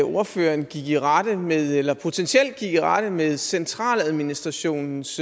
ordføreren gik i rette med eller potentielt gik i rette med centraladministrationens